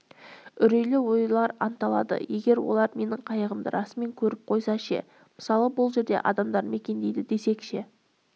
үрейлі ойлар анталады егер олар менің қайығымды расымен көріп қойса ше мысалы бұл жерде адамдар мекендейді десек ше